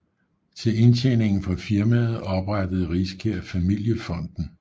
Til indtjeningen fra firmaet oprettede Riskær Familiefonden af 1